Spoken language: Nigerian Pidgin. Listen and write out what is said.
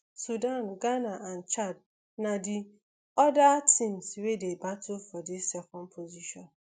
sudan ghana and chad na di oda teams wey dey battle for di second position